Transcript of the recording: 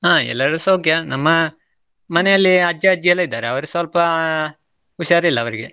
ಹಾ ಎಲ್ಲರೂ ಸೌಖ್ಯ, ನಮ್ಮ ಮನೆಯಲ್ಲಿ ಅಜ್ಜಾ ಅಜ್ಜಿಯೆಲ್ಲಾ ಇದ್ದಾರೆ ಅವರು ಸ್ವಲ್ಪ ಹುಷಾರಿಲ್ಲ ಅವರಿಗೆ.